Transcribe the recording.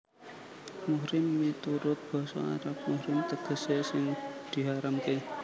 Muhrim miturut basa Arab muhrim tegesé sing diharamké